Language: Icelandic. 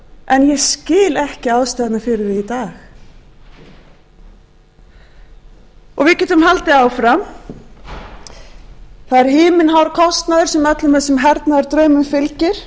en ég skil ekki ástæðuna fyrir því í dag við getum haldið áfram það er himinhár kostnaður sem öllum þessum hernaðardraumum fylgir